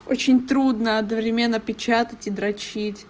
очень трудно одновременно печатать и дрочить